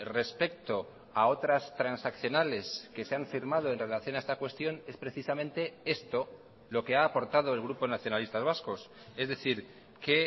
respecto a otras transaccionales que se han firmado en relación a esta cuestión es precisamente esto lo que ha aportado el grupo nacionalistas vascos es decir que